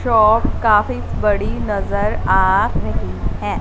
Shop काफी बड़ी नजर आ रही है।